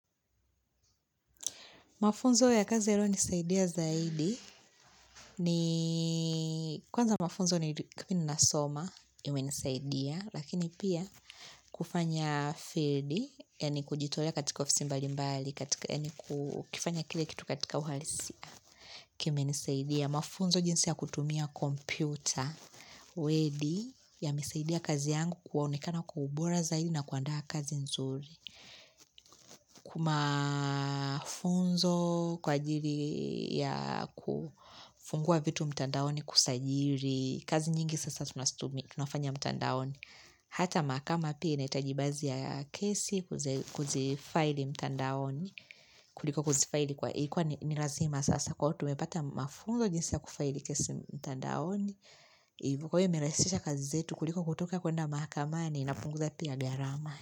Mafunzo ya kazi yaliyo nisaidia zaidi, ni kwanza mafunzo ni kipini nasoma, imenisaidia, lakini pia kufanya field, ya ni kujitolea katika office mbali mbali, ya ni kufanya kile kitu katika uhalisia, kime nisaidia. Ya mafunzo jinsi ya kutumia kompyuta, wedi, yamesaidia kazi yangu koenekana kwa ubora zaidi na kuandaa kazi nzuri. Kumafunzo kwa ajiri ya kufungua vitu mtandaoni kusajili, kazi nyingi sasa tunastumi, tunafanya mtandaoni. Hata makama pia inaitaji bazi ya kesi kuzifaili mtandaoni. Kuliko kuzifaili kwa ikuwa nilazima sasa kwa iyo umepata mafunnzo jinsi ya kufaili kesi mtandaoni kwa hiyo imerahisisha kazi zetu kuliko kutoka kwenda mahakamani na kupunguza pia gharama.